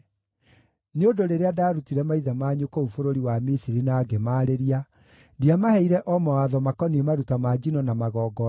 Nĩ ũndũ rĩrĩa ndaarutire maithe manyu kũu bũrũri wa Misiri na ngĩmaarĩria, ndiamaheire o mawatho makoniĩ maruta ma njino na magongona,